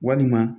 Walima